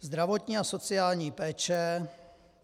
Zdravotní a sociální péče.